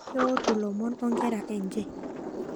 Keotuo lomon onkera enje